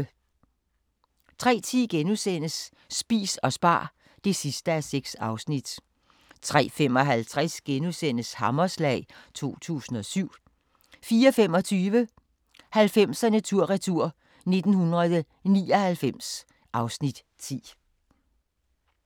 03:10: Spis og spar (6:6)* 03:55: Hammerslag 2007 * 04:25: 90'erne tur-retur: 1999 (Afs. 10)